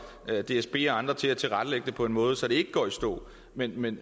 dsb og andre til at tilrettelægge det på en måde så det ikke går i stå men men